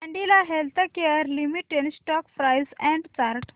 Cadila healthcare limited stock price and chart